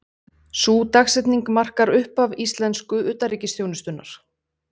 Sú dagsetning markar upphaf íslensku utanríkisþjónustunnar.